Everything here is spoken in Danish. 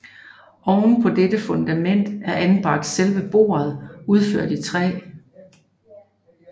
Oven på dette fundament er anbragt selve bordet udført i træ